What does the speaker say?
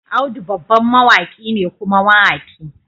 Audu babban mawaki ne kuma mawaki